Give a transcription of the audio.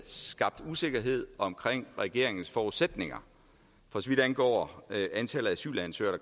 skabt usikkerhed omkring regeringens forudsætninger for så vidt angår antallet af asylansøgere